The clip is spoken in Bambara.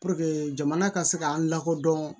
Puruke jamana ka se k'an lakodɔn